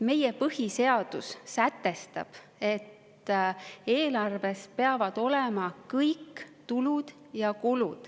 Meie põhiseadus sätestab, et eelarves peavad olema kõik tulud ja kulud.